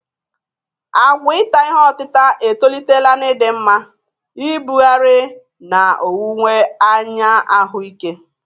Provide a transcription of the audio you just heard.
Àgwà ita ihe otita etolitela n'ịdị mma, ibugharị, na owuwe anya ahụike.